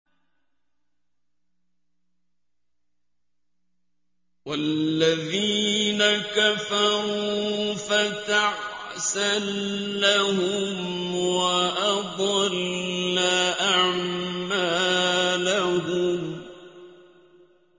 وَالَّذِينَ كَفَرُوا فَتَعْسًا لَّهُمْ وَأَضَلَّ أَعْمَالَهُمْ